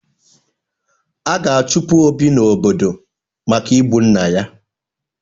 A ga-achụpụ Obi n'obodo maka igbu nna ya.